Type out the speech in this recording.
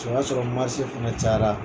O y'a sɔrɔ marse fana cayara